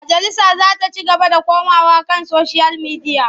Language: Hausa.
Majalisa za ta ci gaba da komawa kan soshiyal midiya.